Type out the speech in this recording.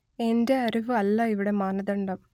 എന്റെ അറിവ് അല്ല ഇവിടെ മാനദണ്ഡം